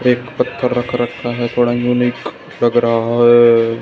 एक पत्थर रख रखा है थोड़ा यूनिक लग रहा है।